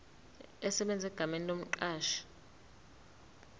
esebenza egameni lomqashi